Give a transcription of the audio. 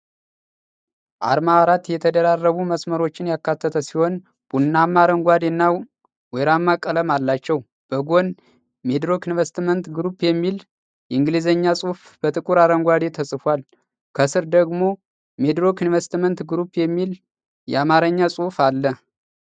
አርማ አራት የተደራረቡ መስመሮችን ያካተተ ሲሆን ቡናማ፣ አረንጓዴ እና ወይራማ ቀለም አላቸው። በጎን "MIDROC INVESTMENT GROUP" የሚል የእንግሊዝኛ ጽሑፍ በጥቁር አረንጓዴ ተጽፏል። ከስር ደግሞ "ሚድሮክ ኢንቨስትመንት ግሩፕ" የሚል የአማርኛ ጽሑፍ አለ።